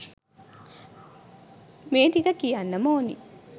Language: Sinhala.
මේ ටික කියන්නම ඕනි